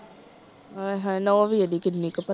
ਅਏ ਹਏ ਨੂੰਹ ਵੀ ਏਡੀ ਕਿੰਨੀ ਕਪੱਤੀ।